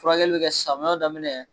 Furakɛli be kɛ samiyaw daminɛ